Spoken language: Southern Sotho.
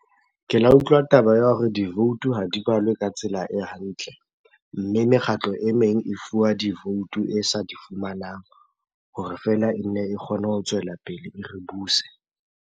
Ke la utlwa taba ya hore divoutu ha di balwe ka tsela e hantle. Mme mekgatlo e meng e fuwa divoutu e sa di fumanang hore feela e nne e kgone ho tswela pele e re buse.